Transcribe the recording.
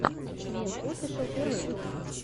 квин офишел первый выпуск